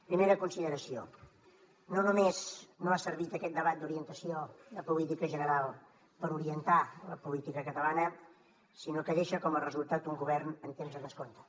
primera consideració no només no ha servit aquest debat d’orientació de política general per orientar la política catalana sinó que deixa com a resultat un govern en temps de descompte